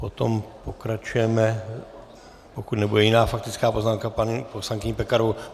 Potom pokračujeme, pokud nebude jiná faktická poznámka, paní poslankyní Pekarovou.